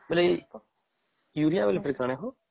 ବୋଇଲେ ଏ ୟୁରିଆ ବୋଲେ କଣ ହୋ ?